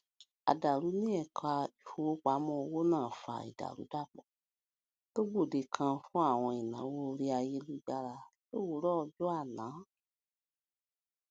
àdàrú ní ẹka ìfowópamọ owó náà fa ìdàrúdàpọ tó gbòde kan fún àwọn ìnáwó orí ayélujára lówùúrọ ọjọ àná